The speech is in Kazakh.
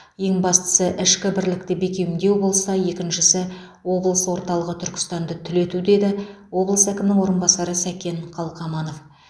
ең бастысы ішкі бірлікті бекемдеу болса екіншісі облыс орталығы түркістанды түлету деді облыс әкімінің орынбасары сәкен қалқаманов